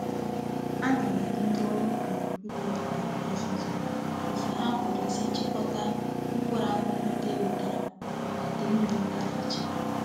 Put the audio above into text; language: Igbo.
Ana m enye ndi órú ubi ime obodo ozuzu otu ha puru isi chikota mkpuru akuku ndi e nwetara ma ide mmiri gafechaa.